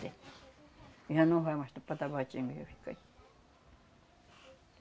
Já não vai mais tudo para Tabatinga, já fica aí.